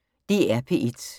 DR P1